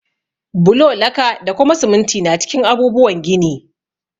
Bulo, laka, da kuma siminti na cikin abubuwan gini.